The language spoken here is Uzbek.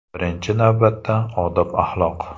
Birinchi navbatda odob-axloq.